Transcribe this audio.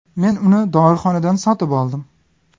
Men uni dorixonadan sotib oldim.